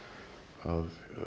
að